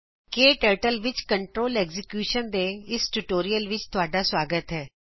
ਕਟਰਟਲ ਵਿੱਚ ਕੰਟਰੋਲ Executionਦੇਇਸ ਟਿਯੂਟੋਰਿਅਲ ਵਿੱਚ ਤੁਹਾਡਾ ਸਵਾਗਤ ਹੈ